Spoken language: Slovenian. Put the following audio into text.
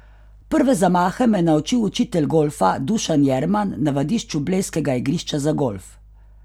Prve zamahe me je naučil učitelj golfa Dušan Jurman na vadišču blejskega igrišča za golf.